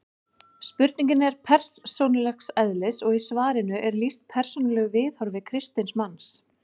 Spurningin er persónulegs eðlis og í svarinu er lýst persónulegu viðhorfi kristins manns.